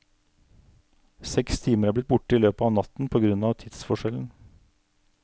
Seks timer er blitt borte i løpet av natten på grunn av tidsforskjellen.